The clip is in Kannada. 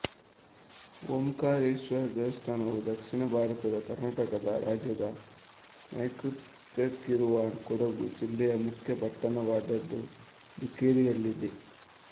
ಓಂಕಾರೇಶ್ವರ ದೇವಸ್ಥಾನವು ದಕ್ಷಿಣ ಭಾರತದ ಕರ್ನಾಟಕ ರಾಜ್ಯದ ನೈಋತ್ಯಕ್ಕಿರುವ ಕೊಡಗು ಜಿಲ್ಲೆಯ ಮುಖ್ಯ ಪಟ್ಟಣವಾದಮಡಿಕೇರಿಯಲ್ಲಿದೆ